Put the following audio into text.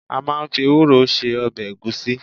A máa ń fi ewúro se ọbẹ̀ ẹ̀gúsí.